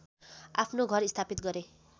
आफ्नो घर स्थापित गरे